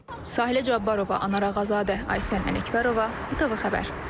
Sahilə Abbarova, Anar Ağazadə, Aysən Ələkbərova, ITV xəbər.